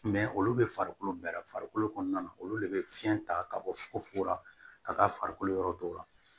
olu bɛ farikolo bɛɛra farikolo kɔnɔna na olu de bɛ fiɲɛ ta ka bɔ fugofugo la ka taa farikolo yɔrɔ dɔw la